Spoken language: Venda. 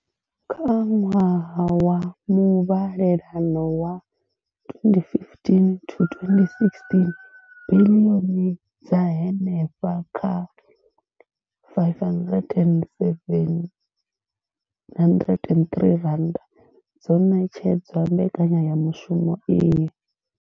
Kha ṅwaha wa muvhalelano wa 2015 to 16, biḽioni dza henefha kha R5 703 dzo ṋetshedzwa mbekanyamushumo iyi.